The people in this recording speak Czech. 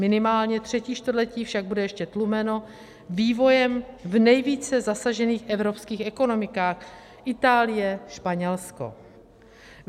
Minimálně třetí čtvrtletí však bude ještě tlumeno vývojem v nejvíce zasažených evropských ekonomikách - Itálie, Španělsko.